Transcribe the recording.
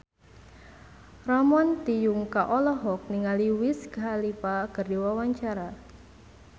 Ramon T. Yungka olohok ningali Wiz Khalifa keur diwawancara